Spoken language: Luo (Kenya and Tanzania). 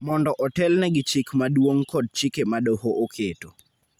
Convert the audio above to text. mondo otelne gi Chik Maduong� kod chike ma doho oketo